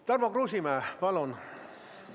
Tarmo Kruusimäe, palun!